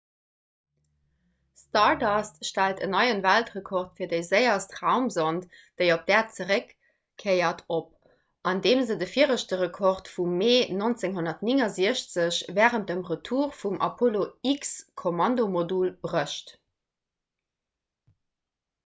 stardust stellt en neie weltrekord fir déi séierst raumsond déi op d'äerd zeréckkéiert op andeem se de viregte rekord vum mee 1969 wärend dem retour vum apollo-x-kommandomodul brécht